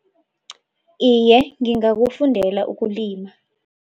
Iye, ngingakufundela ukulima.